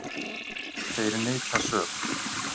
Þeir neita sök.